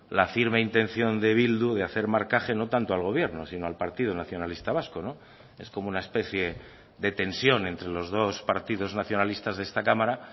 la firme intención de bildu de hacer marcaje no tanto al gobierno sino al partido nacionalista vasco es como una especie de tensión entre los dos partidos nacionalistas de esta cámara